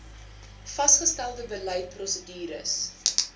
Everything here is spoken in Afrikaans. vasgestelde beleid prosedures